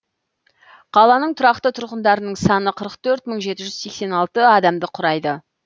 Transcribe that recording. қаланың тұрақты тұрғындарының саны қырық төрт мың жеті жүз сексен алты адамды құрайды